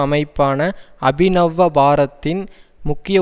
அமைப்பான அபிநவ்வபாரத்தின் முக்கிய